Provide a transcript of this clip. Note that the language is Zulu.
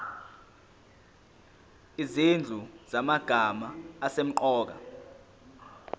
izinhlu zamagama asemqoka